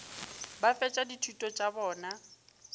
ba fetša dithuto tša bona